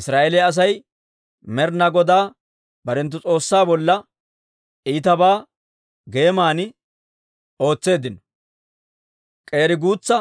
Israa'eeliyaa Asay Med'ina Godaa barenttu S'oossaa bolla iitabaa geeman ootseeddino; k'eeri guutsa